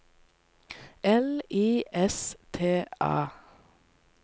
L I S T A